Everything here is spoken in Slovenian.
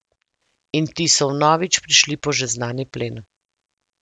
In ti so vnovič prišli po že znani plen.